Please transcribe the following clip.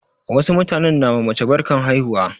Wasu mutanen na ma mace barkan haihuwa.